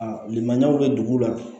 A lili maɲi bɛ dugu la